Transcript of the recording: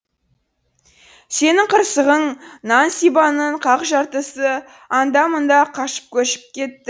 сенің қырсығың нан сибанның қақ жартысы анда мында қашып көшіп кетті